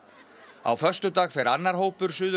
á föstudag fer annar hópur Suður